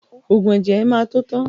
Ògùn ẹ̀jẹ̀ ẹ má tó tán